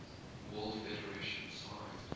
world federation signed